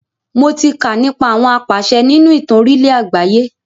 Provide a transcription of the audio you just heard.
Mo tí kà nípa àwọn apàṣẹ nínú ìtàn orílẹ̀ àgbáyé.